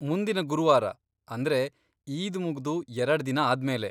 ಮುಂದಿನ ಗುರುವಾರ, ಅಂದ್ರೆ ಈದ್ ಮುಗ್ದು ಎರಡ್ದಿನ ಆದ್ಮೇಲೆ.